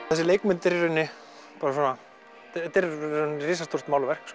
þessi leikmynd er í rauninni bara risastórt málverk